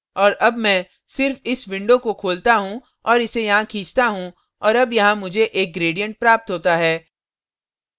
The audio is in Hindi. और अब मैं सिर्फ इस window को खोलता हूँ और इसे यहाँ खींचता हूँ और अब यहाँ मुझे एक gradient प्राप्त होता है